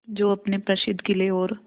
जो अपने प्रसिद्ध किले और